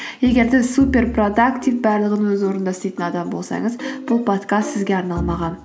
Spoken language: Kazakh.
егер де супер продактив барлығын өз орында істейтін адам болсаңыз бұл подкаст сізге арналмаған